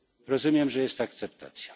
Rozumiem, że jest akceptacja.